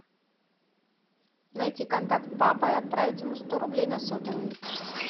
найти контакт папа и отправить ему сто рублей на сотовый